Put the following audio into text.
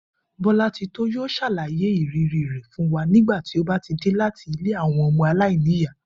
Bó̩látitó yóò s̩àlàyé ìrírí rè̩ fún wa nígbà tí ó bá dé láti ilé àwo̩n o̩mo̩ aláìníyàá